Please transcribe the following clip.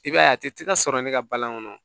I b'a ye a tɛ ka sɔrɔ ne ka balan kɔnɔ